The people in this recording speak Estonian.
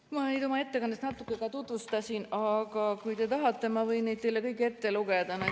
Ma oma ettekandes neid natuke ka tutvustasin, aga kui te tahate, siis ma võin need teile kõik ette lugeda.